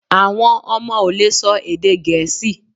Awọn ọmọ o le sọ èdè gẹẹsi